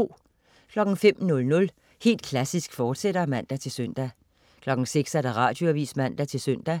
05.00 Helt Klassisk, fortsat (man-søn) 06.00 Radioavis (man-søn)